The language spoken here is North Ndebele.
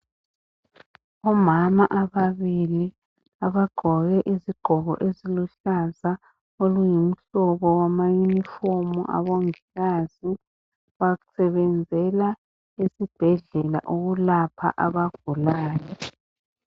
Omama ababili abagqoke izigqoko eziluhlaza oluyimhlobo wama yunifomu abongikazi basebenzela esibhedlela ukulapha abagulayo.